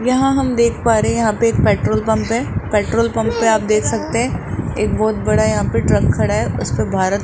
यहां हम देख पा रहे हैं यहां पे एक पेट्रोल पंप है पेट्रोल पंप पे आप देख सकते है एक बहुत बड़ा यहां पे ट्रक खड़ा है उस पर भारत --